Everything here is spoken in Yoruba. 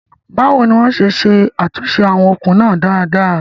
Báwo ni wọ́n ṣe ṣe àtúnṣe àwọn okùn náà dáadáa?